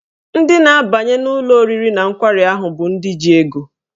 Ndị na-abanye n'ụlọ oriri na nkwari ahụ bụ ndị ji ego.